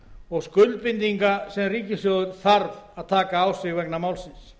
og skuldbindinga sem ríkissjóður þarf að taka á sig vegna málsins